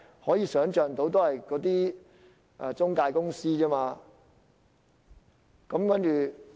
可以想象，只是那些職業介紹所。